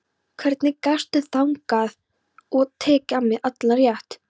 Hvernig gastu þagað og tekið af mér allan rétt?